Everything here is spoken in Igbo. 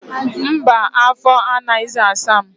Mba, afọ anaghịzi asa m.